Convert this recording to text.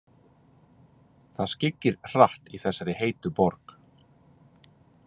Það skyggir hratt í þessari heitu borg.